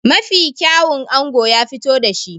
Mafi kyawun ango ya fito da shi.